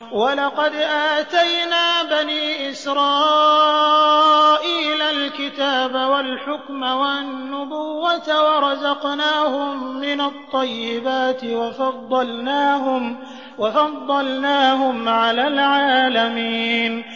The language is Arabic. وَلَقَدْ آتَيْنَا بَنِي إِسْرَائِيلَ الْكِتَابَ وَالْحُكْمَ وَالنُّبُوَّةَ وَرَزَقْنَاهُم مِّنَ الطَّيِّبَاتِ وَفَضَّلْنَاهُمْ عَلَى الْعَالَمِينَ